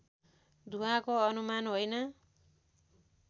धुवाँको अनुमान होइन